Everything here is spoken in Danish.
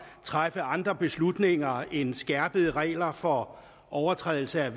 træffe andre beslutninger end skærpede regler for overtrædelse af